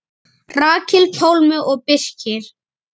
Rakel, Pálmi og Birkir.